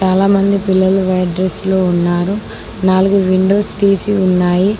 చాలామంది పిల్లలు white dress లో ఉన్నారు నాలుగు విండోస్ తీసి ఉన్నాయి.